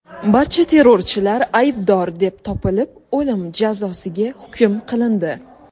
Barcha terrorchilar aybdor deb topilib, o‘lim jazosiga hukm qilindi.